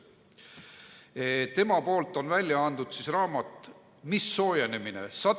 Ta on välja andnud raamatu "Mis soojenemine?